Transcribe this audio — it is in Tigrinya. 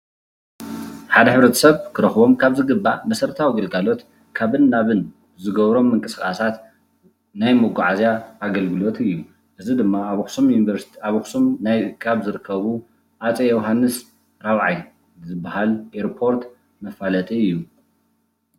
ሓደ ሕብረተሰብ ክረኽቦም ካብ ዝግባእ መሰረታዊ ግልጋሎት ካብን ናብን ዝገብሮም ምንቅስቓሳት ናይ መጓዓዝያ ኣገልግሎን እዩ፡፡ እዚ ድማ ኣብ ኣኽሱም ካብ ዝርከቡ ሃፀይ ዮሃንስ 4ይ ዝባሃል ኤርፖርት መፋለጢ እዩ፡፡